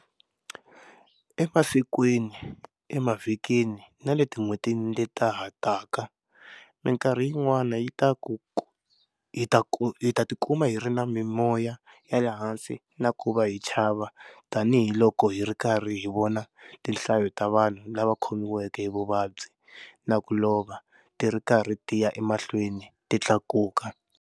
Emasikwini, emavhikini na le tin'hwetini leta ha taka, mikarhi yin'wana hi ta tikuma hi ri na mimoya ya le hansi na ku va hi chava tanihiloko hi ri karhi hi vona tinhlayo ta vanhu lava khomiweke hi vuvabyi na ku lova ti ri karhi ti ya emahlweni ti tlakuka.